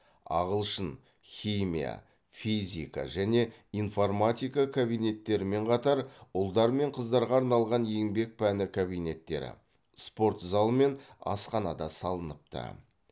ағылшын химия физика және информатика кабинеттерімен қатар ұлдар мен қыздарға арналған еңбек пәні кабинеттері спорт зал мен асхана да салыныпты